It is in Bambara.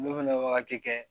N'o fɛnɛ ye wagati kɛ